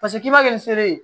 Paseke k'i b'a kɛ ni sere ye